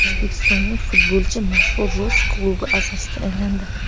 O‘zbekistonlik futbolchi mashhur rus klubi a’zosiga aylandi.